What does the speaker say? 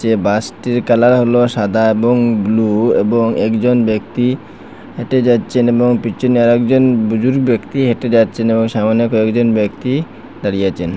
এ bus টির colour হলো সাদা এবং ব্লু এবং একজন ব্যক্তি হেঁটে যাচ্ছেন এবং পিছনে আর একজন দুজন ব্যক্তি হেঁটে যাচ্ছেন এবং সামোনে কয়েকজন ব্যক্তি দাঁড়িয়ে আছেন।